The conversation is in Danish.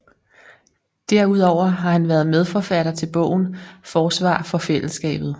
Derudover har han været medforfatter til bogen Forsvar for fællesskabet